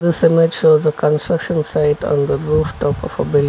This image shows a construction site on the rooftop of a building.